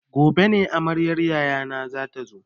Gobe ne amaryar yayana zata zo.